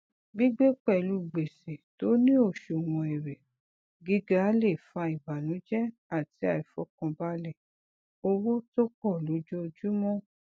gbigbé pẹlú gbèsè tó ní oṣùwọnèrè gíga lè fa ìbànújẹ àti aìfọkànbalẹ owó tó pọ lojoojúmọ